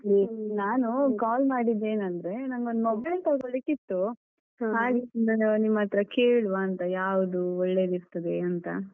ಹ್ಮ ನಾನು call ಮಾಡಿದ್ ಏನ್ ಅಂದ್ರೆ ನಂಗೊಂದ್ mobile ತೊಗೊಳ್ಲಿಕಿತ್ತು. ನಿಮ್ಮತ್ರ ಕೇಳುವಾಂತ. ಯಾವುದು ಒಳ್ಳೆದಿರ್ತದೆ ಅಂತ.